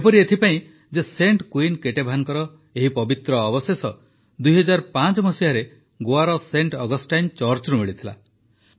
ଏପରି ଏଥିପାଇଁ ଯେ ସେଣ୍ଟ୍ କୁଇନ କେଟେଭାନଙ୍କ ଏହି ପବିତ୍ର ଅବଶେଷ ୨୦୦୫ରେ ଗୋଆର ସେଣ୍ଟ୍ ଅଗଷ୍ଟାଇନ ଚର୍ଚ୍ଚରୁ ମିଳିଥିଲା